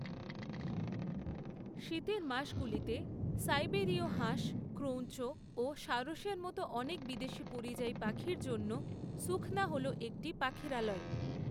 শীতের মাসগুলিতে সাইবেরীয় হাঁস, ক্রৌঞ্চ ও সারসের মতো অনেক বিদেশী পরিযায়ী পাখির জন্য সুখনা হল একটি পাখিরালয়।